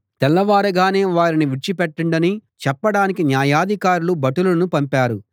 తెల్లవారగానే వారిని విడిచిపెట్టండని చెప్పడానికి న్యాయాధికారులు భటులను పంపారు